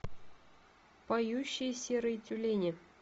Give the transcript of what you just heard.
поющие серые тюлени